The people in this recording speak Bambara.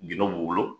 Gindo b'u bolo